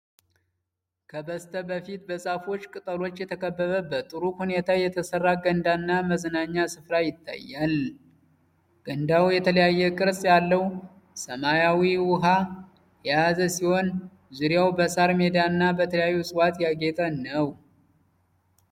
ከበስተፊት በዛፎች ቅጠሎች የተከበበ፣ በጥሩ ሁኔታ የተሠራ ገንዳና የመዝናኛ ስፍራ ይታያል። ገንዳው የተለያየ ቅርጽ ያለው ሰማያዊ ውሃ የያዘ ሲሆን፣ ዙሪያው በሣር ሜዳና በተለያዩ እጽዋት ያጌጠ ነው።